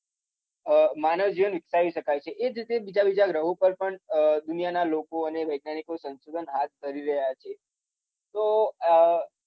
માનવ જીવન વીકસાવી શકાય છે. એ જ રીતે બીજા બીજા ગ્રહો પર પણ દૂનિયાના લોકો અને વૈજ્ઞાનીકો સંશોધન હાથ ધરી રહ્યા છે તો અર